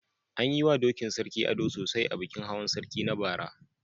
An yi wa dokin Sarki ado sosai a bikin Hawan sarki na bara.